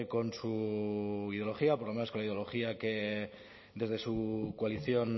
con su ideología por lo menos con la ideología que desde su coalición